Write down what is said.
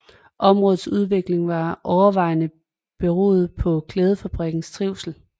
Områdets udvikling var overvejende beroende på klædefabrikkens trivsel